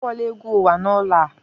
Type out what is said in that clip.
Akpọla egwu uwa n'ụlọ a!